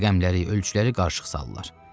Rəqəmləri, ölçüləri qarışıq salırlar.